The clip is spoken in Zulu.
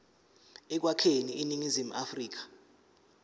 ekwakheni iningizimu afrika